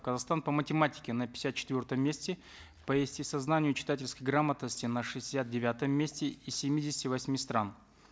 казахстан по математике на пятьдесят четвертом месте по естествознанию и читательской грамотности на шестьдесят девятом месте из семидесяти восьми стран